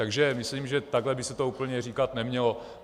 Takže myslím, že takhle by se to úplně říkat nemělo.